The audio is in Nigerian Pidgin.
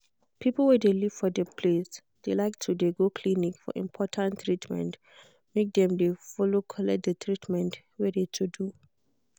people wey live for de place de like to de go clinic for important treatment make dem follow collect de treatment wey de to do.